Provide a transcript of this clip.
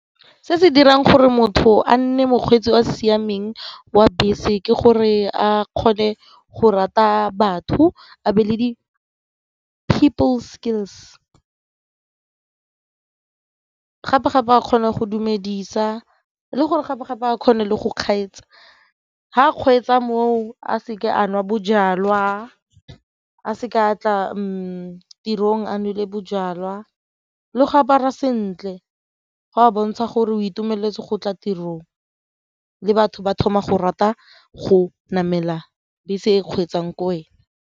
Se se dirang gore motho a nne mokgweetsi o siameng wa bese ke gore a kgone go rata batho a be le di-people skills gape-gape a kgone go dumedisa le gore gape-gape a kgone le go ga kgweetsa moo a seke a nwa bojalwa, a seke a tla tirong a nole bojalwa le go apara sentle go bontsha gore o itumeletse go tla tirong le batho ba thoma go rata go namela bese e kgweetsang ke wena.